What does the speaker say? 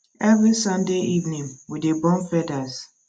every sunday evening we dey burn feathers